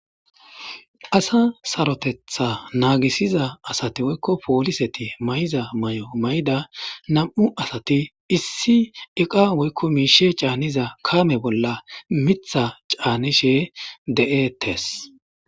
Asa sarotetha naagisiza asati woykko pooliseti may7za may7o may7da nam7u asati issi iqa woykko miishe caanniza kaame bolla mitha caanishe de7etes.